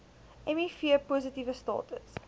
miv positiewe status